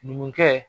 Numukɛ